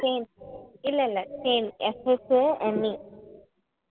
Shane இல்ல இல்ல Shane SHANE